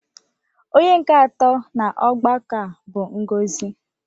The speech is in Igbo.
Onye nke atọ n'ọgbakọ a bụ Ngozi.